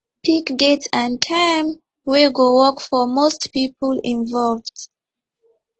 pick date and time wey go work for most people involved